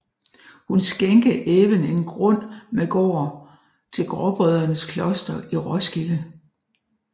Hun skænke även en grund med gård til gråbrødrenes kloster i Roskilde